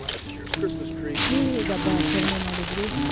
ನೀವ್ ಹೇಗೆ ಹಬ್ಬ ಆಚರಣೆ ಮಾಡಿದ್ರಿ?